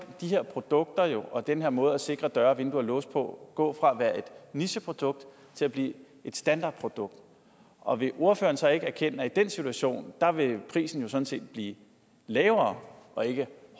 de her produkter og den her måde at sikre døre vinduer og låse på gå fra at være et nicheprodukt til at blive et standardprodukt og vil ordføreren så ikke erkende at i den situation vil prisen sådan set blive lavere og ikke